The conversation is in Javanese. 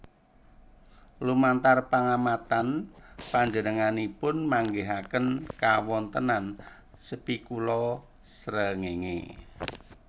Lumantar pangamatan panjenenganipun manggihaken kawontenan spikula srengéngé